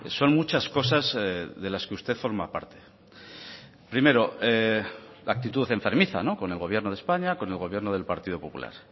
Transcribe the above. son muchas cosas de las que usted forma parte primero la actitud enfermiza con el gobierno de españa con el gobierno del partido popular